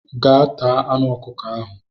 Gaa taa anụ ọkụkọ ahụ!